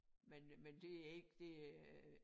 Men men det er ikke det øh